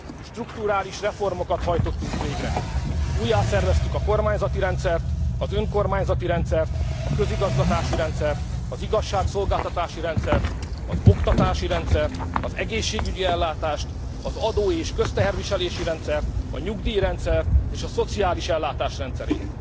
Strukturális reformokat hajtottunk végre, újjászerveztük a kormányzati rendszert, az önkormányzati rendszert, a közigazgatási rendszert, az igazságszolgáltatási rendszert, az oktatási rendszert, az egészségügyi ellátást, az adó és közteherviselési rendszert, a nyugdíjrendszert és a szociális ellátás rendszerét.